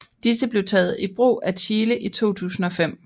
Disse blev taget i brug af Chile i 2005